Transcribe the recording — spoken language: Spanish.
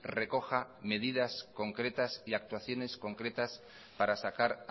recoja medidas concretas y actuaciones concretas para sacar